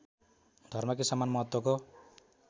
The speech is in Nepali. धर्मकै समान महत्त्वको